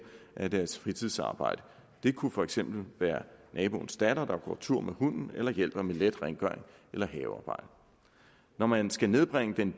af deres fritidsarbejde det kunne for eksempel være naboens datter der går tur med hunden eller hjælper med let rengøring eller havearbejde når man skal nedbringe den